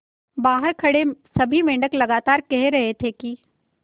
बहार खड़े सभी मेंढक लगातार कह रहे थे कि